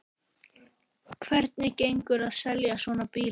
Hvernig gengur að selja svona bíla?